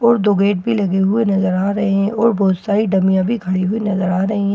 और दो गेट भी लगे हुए नजर आ रहे हैं और बहुत सारी डमिया भी खड़ी हुई नजर आ रही हैं।